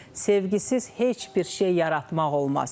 Sevgisiz heç bir şey yaratmaq olmaz.